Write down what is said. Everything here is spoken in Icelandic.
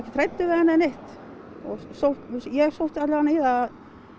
hræddur við hann eða neitt og ég sótti allavega í að